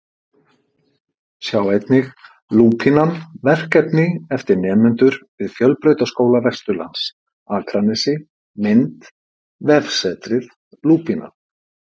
Sjá einnig: Lúpínan, verkefni eftir nemendur við Fjölbrautaskóla Vesturlands Akranesi Mynd: Vefsetrið Lúpínan